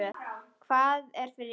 Hvað er fyrir innan?